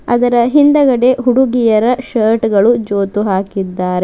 ಅದರ ಹಿಂದಗಡೆ ಹುಡುಗಿಯರ ಶರ್ಟ್ ಗಳು ಜೋತು ಹಾಕಿದ್ದಾರೆ.